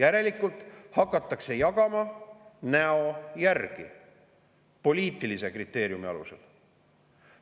Järelikult hakatakse jagama näo järgi, poliitilise kriteeriumi alusel.